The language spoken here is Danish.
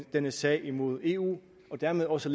denne sag imod eu og dermed også